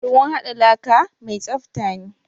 Ruwn haɗa laka mi tsafta ne.